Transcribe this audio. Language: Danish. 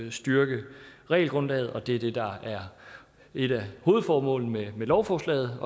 at styrke regelgrundlaget og det er det der er et af hovedformålene med lovforslaget